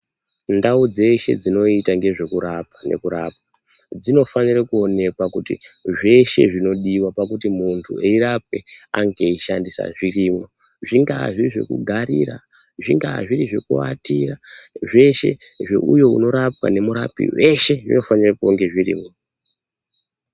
Ndau dzeshe dzinoita ngezvekurapa nekurapwa dzinofanire kuonekwa kuti zveshe zvinodiwa pakuti muntu eirapwe ange eishandisa zvirimwo. Zvingaa zviri zvekugarira, zvingaa zviri zvekuatira, zveshe zveuyo unorapwa nemurapi, veshe zvinofanire kunge zvirimwo.